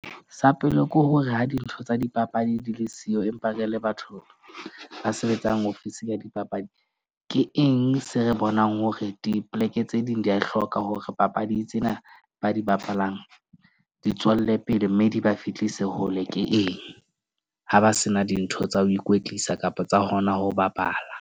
Sa pele ke hore ha dintho tsa dipapadi di le siyo, empa re le batho ba sebetsang ofisi ya dipapadi. Ke eng se re bonang hore dipoleke tse ding di a e hloka, hore papadi tsena ba di bapalang di tswelle pele. Mme di ba fihlise hole ke eng, ha ba se na dintho tsa ho ikwetlisa kapa tsa hona ho bapala.